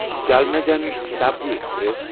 Jalna Jan Shatabdi express